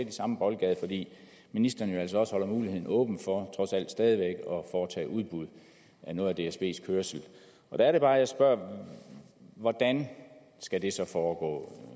i samme boldgade fordi ministeren jo altså også holder muligheden åben for trods alt stadig væk at foretage udbud af noget af dsbs kørsel der er det bare jeg spørger hvordan skal det så foregå